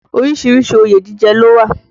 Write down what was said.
Orísìírísìí òye jíjẹ ló wà